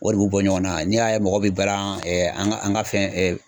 O de b'u bɔ ɲɔgɔn na n'i y'a ye mɔgɔ be balan ɛɛ an ga an ga fɛn ɛɛ